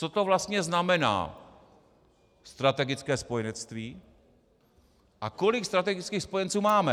Co to vlastně znamená strategické spojenectví a kolik strategických spojenců máme?